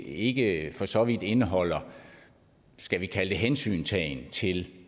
ikke for så vidt indeholder skal vi kalde det hensyntagen til